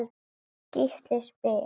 Gísli spyr